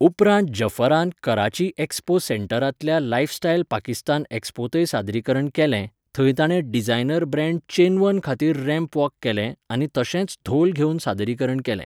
उपरांत जफरान कराची एक्स्पो सेंटरांतल्या लायफस्टायल पाकिस्तान एक्स्पोंतय सादरीकरण केलें, थंय ताणें डिझायनर ब्रँड चेनवन खातीर रॅम्प वॉक केलें आनी तशेंच धोल घेवन सादरीकरण केलें.